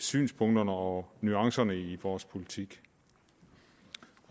synspunkterne og nuancerne i vores politik